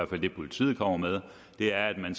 det politiet kommer med er at man